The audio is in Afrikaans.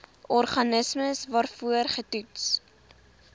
organisme waarvoor getoets